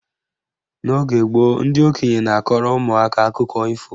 N'oge gboo, ndị okenye na-akọrọ ụmụaka akụkọ ifo